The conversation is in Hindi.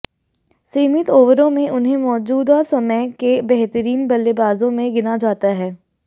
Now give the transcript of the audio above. सीमित ओवरों में उन्हें मौजूदा समय के बेहतरीन बल्लेबाजों में गिना जाता है